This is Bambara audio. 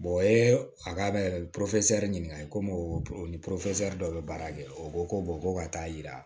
o ye a ka da yɛrɛ de ɲininkali komi o ni dɔw bɛ baara kɛ o ko ko ka taa yira